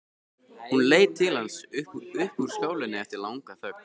Hún leit til hans upp úr skálinni eftir langa þögn.